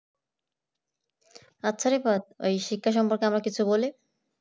আচ্ছা রিবাদ ওই শিক্ষা সম্পর্খে আমরা কিছু বলি